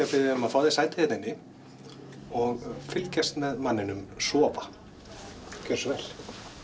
að biðja þig um að fá þér sæti hérna inni og fylgjast með manninum sofa gjörðu svo vel